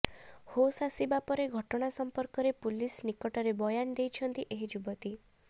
ହୋସ୍ ଆସିବା ପରେ ଘଟଣା ସମ୍ପର୍କରେ ପୁଲିସ ନିକଟରେ ବୟାନ ଦେଇଛନ୍ତି ଏହି ଯୁବତୀ